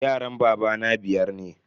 Yaran babana biyar ne.